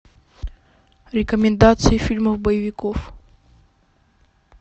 рекомендации фильмов боевиков